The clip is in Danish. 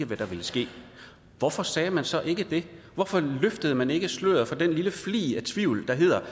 hvad der ville ske hvorfor sagde man så ikke det hvorfor løftede man ikke sløret for den lille flig af tvivl der hedder